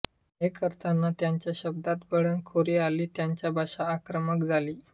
हे करताना त्यांच्या शब्दात बंडखोरी आली त्यांची भाषा आक्रमक झाली